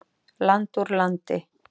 Land úr landi.